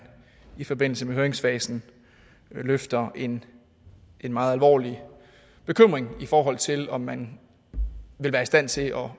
i forbindelse med høringsfasen lufter en meget alvorlig bekymring i forhold til om man vil være i stand til at